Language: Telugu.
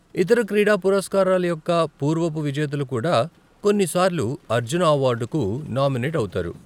ఇతర క్రీడా పురస్కారాల యొక్క పూర్వపు విజేతలు కూడా కొన్నిసార్లు అర్జున అవార్డుకు నామినేట్ అవుతారు.